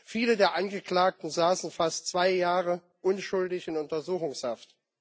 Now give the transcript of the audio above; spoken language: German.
Viele der Angeklagten saßen fast zwei Jahre unschuldig in Untersuchungshaft.